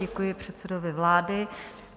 Děkuji předsedovi vlády.